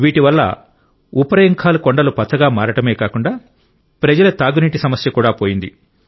వీటి వల్ల ఉఫ్రయింఖాల్ కొండలు పచ్చగా మారడమే కాకుండా ప్రజల తాగునీటి సమస్య కూడా పోయింది